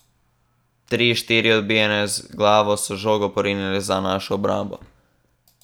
Tri, štiri odbijanja z glavo so žogo porinile za našo obrambo.